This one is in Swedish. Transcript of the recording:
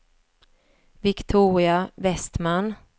Viktoria Vestman